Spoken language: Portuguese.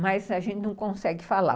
Mas a gente não consegue falar.